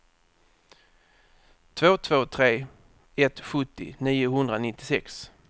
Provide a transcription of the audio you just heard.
två två tre ett sjuttio niohundranittiosex